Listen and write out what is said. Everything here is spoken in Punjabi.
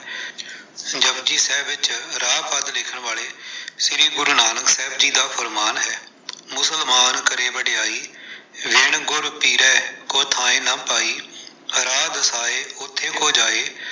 ਜਪੁਜੀ ਸਾਹਿਬ ਵਿੱਚ ਰਾਹ ਪਦ ਲਿਖਣ ਵਾਲੇ ਸ਼੍ਰੀ ਗੁਰੂ ਨਾਨਕ ਦੇਵ ਜੀ ਦਾ ਫਰਮਾਨ ਹੈ-ਮੁਸਲਮਾਨ ਕਰੇ ਵਡਿਆਈ, ਵਿਣੁ ਗੁਰ ਪੀਰੈ ਕੋ ਥਾਇ ਨ ਪਾਈ, ਰਾਹੁ ਦਸਾਇ ਓਥੈ ਕੋ ਜਾਇ।